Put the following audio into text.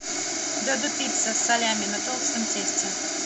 додо пицца салями на толстом тесте